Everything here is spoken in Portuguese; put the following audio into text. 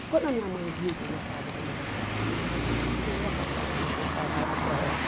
E quando a minha mãe viu que eu gostava de ler aquilo, ela falou, não, melhor comprar a coleção Saraiva para ela.